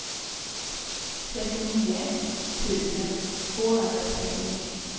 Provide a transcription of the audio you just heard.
trettionio tusen tvåhundratrettionio